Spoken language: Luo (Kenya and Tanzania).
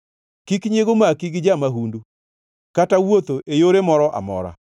Kik nyiego maki gi ja-mahundu, kata wuotho e yore moro amora.